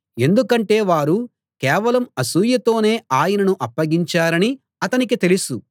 ఎందుకంటే వారు కేవలం అసూయతోనే ఆయనను అప్పగించారని అతనికి తెలుసు